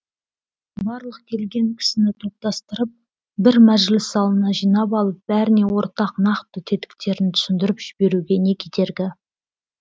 барлық келген кісіні топтастырып бір мәжіліс залына жинап алып бәріне ортақ нақты тетіктерін түсіндіріп жіберуге не кедергі